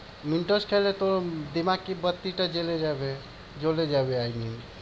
mentos খাইলে তোর দিমাগ কি বাত্তিটা জ্বলে যাবে। জ্বলে যাবে I mean.